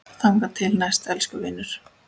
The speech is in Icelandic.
Þangað til næst, elsku vinur.